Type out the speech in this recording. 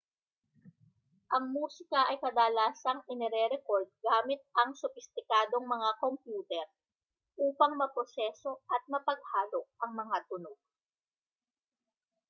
ang musika ay kadalasang inirerekord gamit ang sopistikadong mga kompyuter upang maproseso at mapaghalo ang mga tunog